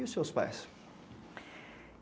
E os seus pais?